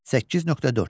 8.4.